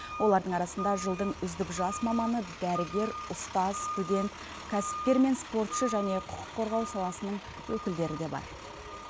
олардың арасында жылдың үздік жас маманы дәрігер ұстаз студент кәсіпкер мен спортшы және құқық қорғау саласының өкілдері бар